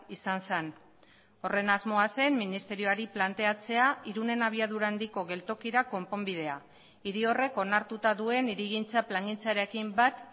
izan zen horren asmoa zen ministerioari planteatzea irunen abiadura handiko geltokira konponbidea hiri horrek onartuta duen hirigintza plangintzarekin bat